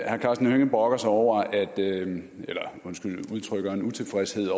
herre karsten hønge brokker sig over eller undskyld udtrykker en utilfredshed